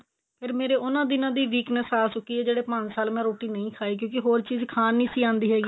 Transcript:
ਫ਼ੇਰ ਮੇਰੇ ਉਹਨਾ ਦਿਨਾ ਦੀ weakness ਆ ਚੁੱਕੀ ਏ ਜਿਹੜੇ ਪੰਜ ਸਾਲ ਮੈਂ ਰੋਟੀ ਨੀ ਖਾਈ ਕਿਉਂਕਿ ਹੋਰ ਚੀਜ਼ ਖਾਣ ਨੀ ਸੀ ਆਂਦੀ ਹੈਗੀ